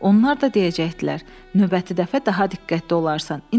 Onlar da deyəcəkdilər: növbəti dəfə daha diqqətli olarsan.